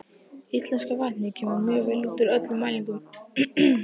Íslenska vatnið kemur mjög vel út úr öllum mælingum.